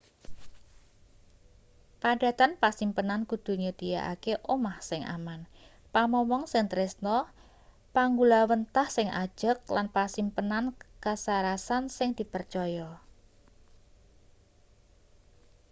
padatan pasimpenan kudu nyedhiyakake omah sing aman pamomong sing tresna panggulawenthah sing ajeg lan pasimpenan kasarasan sing dipercaya